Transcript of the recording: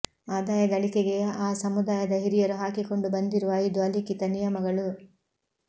ಆದಾಯ ಗಳಿಕೆಗೆ ಆ ಸಮುದಾಯದ ಹಿರಿಯರು ಹಾಕಿಕೊಂಡು ಬಂದಿರುವ ಐದು ಅಲಿಖಿತ ನಿಯಮಗಳು